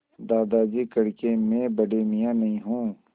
दादाजी कड़के मैं बड़े मियाँ नहीं हूँ